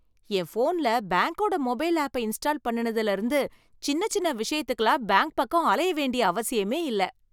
என் ஃபோன்ல பேங்க்கோட மொபைல் ஆப்பை இன்ஸ்டால் பண்ணுனதுல இருந்து, சின்ன சின்ன விஷயத்துக்குலாம் பேங்க் பக்கம் அலைய வேண்டிய அவசியமே இல்ல.